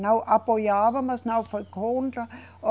Não apoiava, mas não foi contra.